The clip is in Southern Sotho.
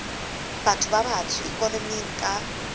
batho ba batsho ikonoming ka